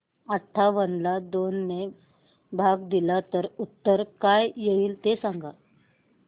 अठावन्न ला दोन ने भाग दिला तर उत्तर काय येईल ते सांगा